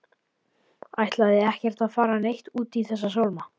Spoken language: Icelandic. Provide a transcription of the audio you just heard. Ætlaði ekkert að fara neitt út í þessa sálma.